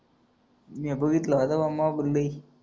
म्या बघितलंय मोबाईल